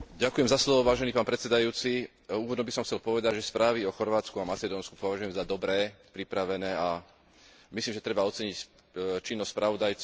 Úvodom by som chcel povedať, že správy o Chorvátsku a Macedónsku považujem za dobré, pripravené, a myslím si, že treba oceniť činnosť spravodajcov a podporiť prijatie týchto správ.